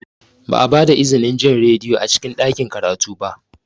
Ba a ba da izinin jin rediyo a cikin ɗakin karatu ba.